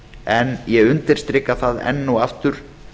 en ég undirstrika það enn og aftur